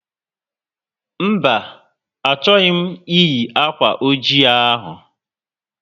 Mba, achọghị m eyi akwa oji ahụ